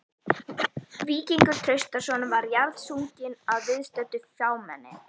Víkingur Traustason var jarðsunginn að viðstöddu fámenni.